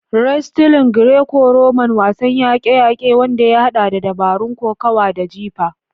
Wrestling (Greco-Roman): Wasan yaƙe-yaƙe wanda ya haɗa da dabarun kokawa da jifa.